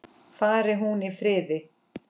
Fari hún í friði.